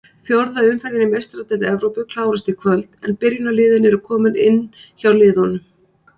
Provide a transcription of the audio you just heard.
Fjórða umferðin í Meistaradeild Evrópu klárast í kvöld en byrjunarliðin eru komin inn hjá liðunum.